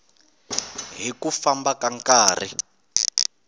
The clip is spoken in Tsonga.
hi ku famba ka nkarhi